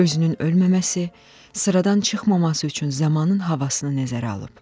Özünün ölməməsi, sıradan çıxmaması üçün zamanın havasını nəzərə alıb.